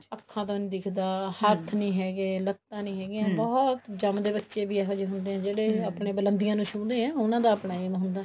ਅੱਖਾ ਤੋਂ ਨੀ ਦਿਖਦਾ ਹੱਥ ਨੀ ਹੈਗੇ ਲੱਤਾਂ ਨੀ ਹੈਗੀਆਂ ਜੰਮਦੇ ਬੱਚੇ ਵੀ ਇਹੋਜਿਹੇ ਹੁੰਦੇ ਨੇ ਜਿਹੜੇ ਬੁਲੰਦੀਆਂ ਨੂੰ ਛੂਹਦੇ ਨੇ ਉਹਨਾ ਦਾ ਆਪਣਾ aim ਹੁੰਦਾ